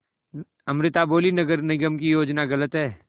अमृता बोलीं नगर निगम की योजना गलत है